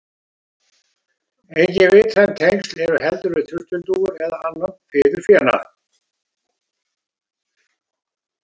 Engin vitræn tengsl eru heldur við turtildúfur eða annan fiðurfénað.